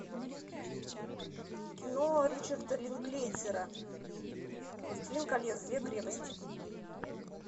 кино ричарда линклейтера властелин колец две крепости